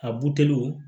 A buteliw